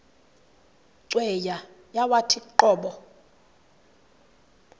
cweya yawathi qobo